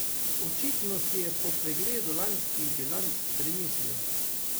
Očitno si je po pregledu lanskih bilanc premislil.